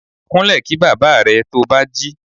Kunle kí bàbá rẹ̀ to bá jí.